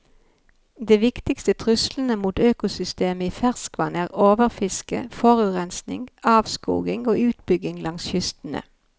De viktigste truslene mot økosystemene i ferskvann er overfiske, forurensning, avskoging og utbygging langs kystene.